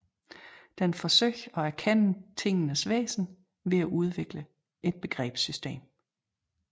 Den forsøger at erkende tingenes væsen ved at udvikle et begrebssystem